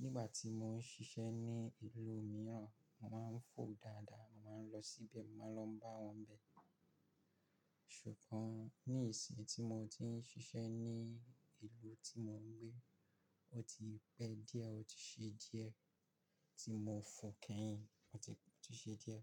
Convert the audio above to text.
Nígbà tí mo ń ṣiṣẹ́ ní ìlú mìíràn, màá ń fọ̀ dáadáa, màá ń lọ sí ibẹ̀, màá lọ bá wọn bẹ. Ṣùgbọ́n ní ìsìn tí mo ti ń ṣiṣẹ́ ní ìlú tí mo ń gbé, ó ti pẹ́ díẹ̀, ó ti ṣe díẹ̀ tí mo fọ̀ kẹ́yìn. Ó ti ṣe díẹ̀